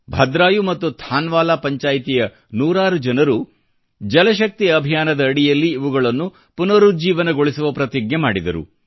ಭದ್ರಾಯು ಮತ್ತು ಥಾನ್ವಾಲಾ ಪಂಚಾಯ್ತಿಯ ನೂರಾರು ಜನರು ಜಲಶಕ್ತಿ ಅಭಿಯಾನದ ಅಡಿಯಲ್ಲಿ ಇವುಗಳನ್ನು ಪುನರುಜ್ಜೀವನಗೊಳಿಸುವ ಪ್ರತಿಜ್ಞೆ ಮಾಡಿದರು